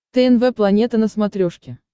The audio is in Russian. тнв планета на смотрешке